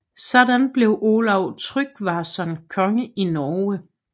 Sådan blev Olav Tryggvason konge i Norge